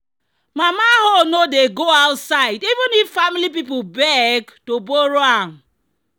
"mama hoe no dey go outside even if family people beg to borrow am."